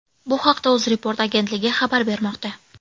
Bu haqda UzReport agentligi xabar bermoqda .